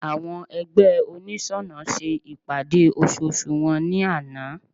Àwọn ẹgbẹ́ oniṣọnà ṣe ìpàdé ososù wọn ní àná